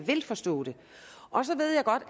forstå det og så ved jeg godt